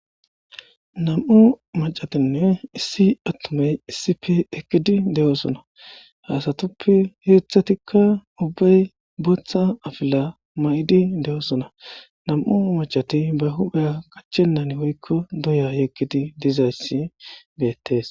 Nam'u macatinne issi attumey issi pe ekkidi de'oosona haasatuppe heeththatikka ubbay booththa afila ma'idi de'oosona nam'u macati ba hubhe qachenan woykko doya yekkidi dizayssi beettees